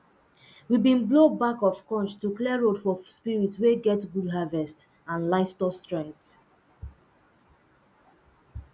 we been blow back of conch to clear road for spirits we get good harvest and livestock strength